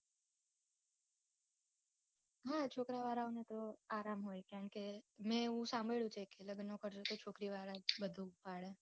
હા છોકરાં વાળાઓને તો આરામ હોય છે કેમ કે મેં એવું સાંભળ્યું છે કે લગ્નનો ખર્ચો છોકરી વાળા જ બધું